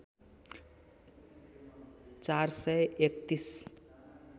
४ सय ३१